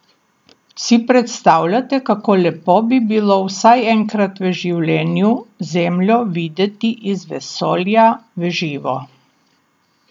Si predstavljate, kako lepo bi bilo vsaj enkrat v življenju Zemljo videti iz vesolja v živo?